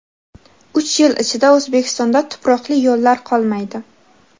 Uch yil ichida O‘zbekistonda tuproqli yo‘llar qolmaydi.